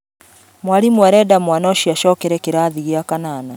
Mwarimũarenda mwana ũcio acokere kĩrathi gĩa kanana